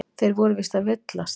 Þeir voru víst að villast.